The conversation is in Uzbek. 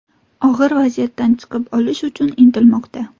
Og‘ir vaziyatdan chiqib olish uchun intilmoqda.